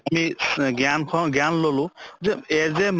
আমি জ্ঞান পাওঁ জ্ঞান ললো যে as a